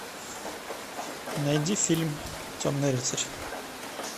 найди фильм темный рыцарь